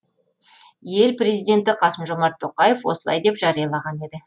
ел президенті қасым жомарт тоқаев осылай деп жариялаған еді